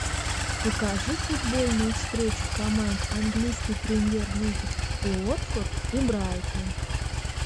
покажи футбольную встречу команд английской премьер лиги уотфорд и брайтон